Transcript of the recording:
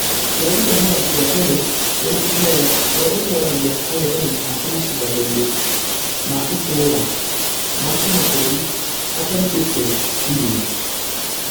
Na cheruto nĩ mũthaki wa tennis wĩna kĩheo ũrĩa ũtoragia angethanĩri ake mashidano-inĩ ma itũra na kĩmabũrũri, atarutĩte thithino.